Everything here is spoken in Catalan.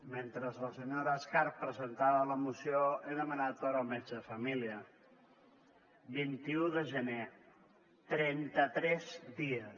mentre la senyora escarp presentava la moció he demanat hora al metge de família vint un de gener trenta tres dies